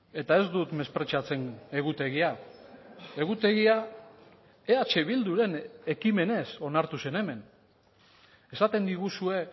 eta ez dut mespretxatzen egutegia egutegia eh bilduren ekimenez onartu zen hemen esaten diguzue